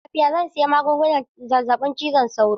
Ina jin rashin lafiya, zan sayi magungunan zazzabin cizon sauro.